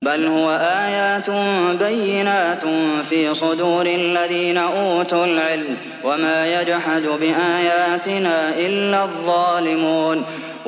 بَلْ هُوَ آيَاتٌ بَيِّنَاتٌ فِي صُدُورِ الَّذِينَ أُوتُوا الْعِلْمَ ۚ وَمَا يَجْحَدُ بِآيَاتِنَا إِلَّا الظَّالِمُونَ